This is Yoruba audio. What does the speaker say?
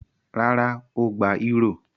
Rárá, ó gba eúrò.